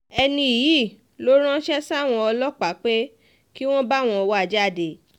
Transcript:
ẹni yìí ló ránṣẹ́ sáwọn ọlọ́pàá pé kí wọ́n báwọn wá a jáde